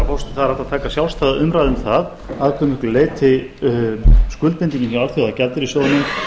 hægt að taka sjálfstæða umræðu um það að hve miklu leyti skuldbindingin hjá alþjóðagjaldeyrissjóðnum